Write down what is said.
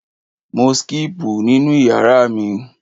Mò síkípù nínú ìyàrá mi.